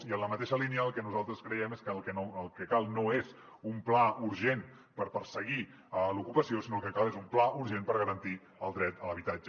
i en la mateixa línia el que nosaltres creiem és que el que cal no és un pla urgent per perseguir l’ocupació sinó que el que cal és un pla urgent per garantir el dret a l’habitatge